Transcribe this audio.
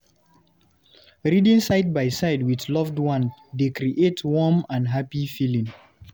Reading side by side with loved one dey create warm and happy feeling.